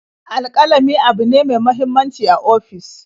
Alƙalami abune ne me muhimmanci a ofis.